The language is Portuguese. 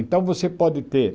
Então você pode ter